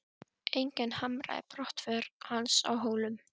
Enginn harmaði brottför hans frá Hólum.